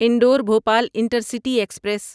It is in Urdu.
Indore Bhopal intercity express